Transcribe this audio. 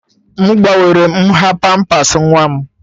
M gbanwere nha pampers nwa m